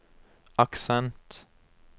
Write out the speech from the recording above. aksent